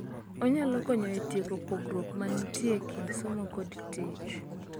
Onyalo konyo e tieko pogruok ma nitie e kind somo kod tich.